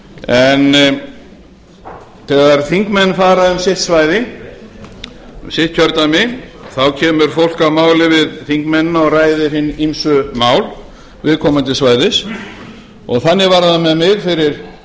en þegar þingmenn fara um sitt kjördæmi þá kemur fólk að máli við þingmennina og ræðir hin ýmsu mál viðkomandi svæðis þannig var það með mig fyrir